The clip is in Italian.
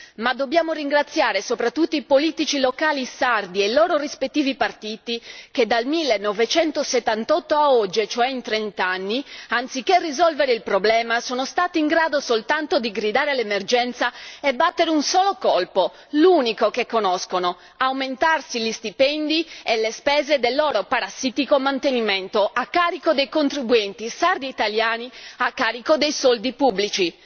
Ma dobbiamo ringraziare soprattutto i politici locali sardi e i loro rispettivi partiti che dal 1978 a oggi, e cioè in trent'anni, anziché risolvere il problema, sono stati in grado soltanto di gridare all'emergenza e battere un solo colpo, l'unico che conosco aumentarsi gli stipendi e le spese del loro parassitario mantenimento a carico dei contribuenti sardi e italiani, a carico dei soldi pubblici.